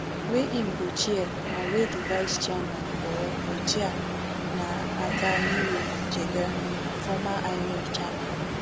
wey im go chair and wey di vice chairman or cochair na attahiru jega former inec chairman